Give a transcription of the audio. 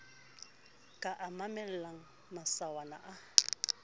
ka a mamellang masawana a